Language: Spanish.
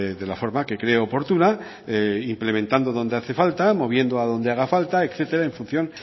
de la forma que cree oportuna implementando donde hace falta moviendo a donde hace falta etcétera en función